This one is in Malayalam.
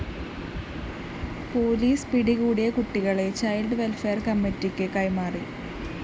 പോലീസ് പിടികൂടിയ കുട്ടികളെ ചൈൽഡ്‌ വെൽഫെയർ കമ്മിറ്റിക്ക് കൈമാറി